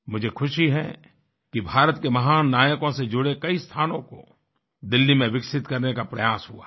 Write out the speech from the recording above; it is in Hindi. मुझे ख़ुशी है कि भारत के महान नायकों से जुड़े कई स्थानों को दिल्ली में विकसित करने का प्रयास हुआ है